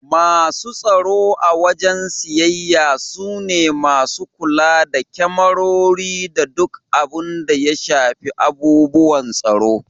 Masu tsaro a wajen siyayya su ne masu kula da kemarori da duk abun da ya shafi abubuwan tsaro.